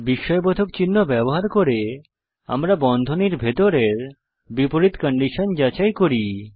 বিস্ময়বোধক চিহ্ন ব্যবহার করে আমরা বন্ধনীর ভিতরের বিপরীত কন্ডিশন যাচাই করি